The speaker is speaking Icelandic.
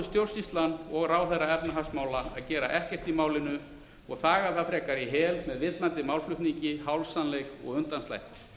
stjórnsýslan og ráðherra efnahagsmála að gera ekkert í málinu og þegja það frekar í hel með mismunandi málflutningi hálfsannleik og undanslætti